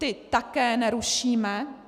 Ty také nerušíme.